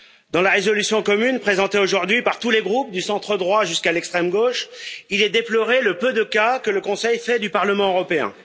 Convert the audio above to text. Dans la résolution commune présentée aujourd'hui par tous les groupes du centre droit jusqu'à l'extrême gauche, il est déploré le peu de cas que le Conseil fait du Parlement européen.